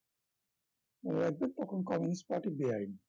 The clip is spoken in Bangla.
মনে রাখবে তখন communist party বেআইনি